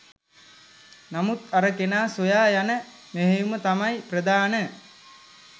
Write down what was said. නමුත් අර කෙනා සොයා යන මෙහෙයුම තමයි ප්‍රධාන.